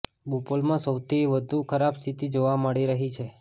બોપલમાં સૌથી વધુ ખરાબ સ્થિતિ જોવા મળી રહી છે